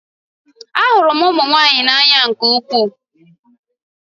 Ahụrụ m ụmụ nwanyị n'anya nke ukwuu